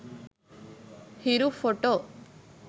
hiru photo